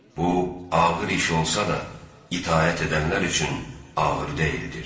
Bu, ağır iş olsa da, itaət edənlər üçün ağır deyildir.